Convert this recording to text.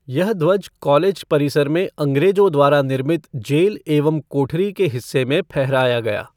यह ध्वज कॉलेज परिसर में अंग्रेजों द्वारा निर्मित जेल एवं कोठरी के हिस्से में फहराया गया।